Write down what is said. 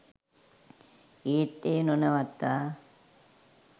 ඒත් එය නොනවත්වා